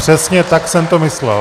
Přesně tak jsem to myslel.